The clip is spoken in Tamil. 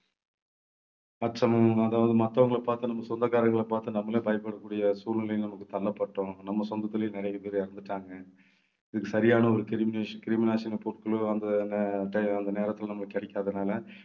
அதாவது மத்தவங்கள பார்த்து நம்ம சொந்தக்காரங்களை பார்த்து நம்மளே பயப்படக்கூடிய சூழ்நிலைக்கு நமக்கு தள்ளப்பட்டோம். நம்ம சொந்தத்திலேயே நிறைய பேர் இறந்துட்டாங்க. இதுக்கு சரியான ஒரு கிருமிநாசி~ கிருமிநாசினி பொருட்களோ அந்த நே~ நேரத்திலே நமக்கு கிடைக்காததுனாலே